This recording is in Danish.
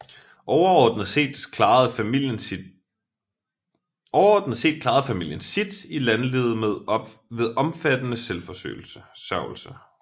Overordnet set klarede familien sit i landlivet ved omfattende selvforsørgelse